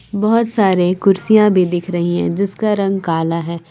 बहोत सारे कुर्सियाँ भी दिख रही हैं जिसका रंग काला है।